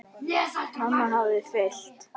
Mamma hafði fylgt